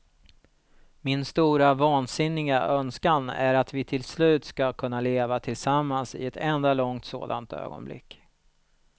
Min stora, vansinniga önskan är att vi till slut ska kunna leva tillsammans i ett enda långt sådant ögonblick.